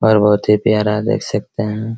और बहुत ही प्यारा देख सकते हैं |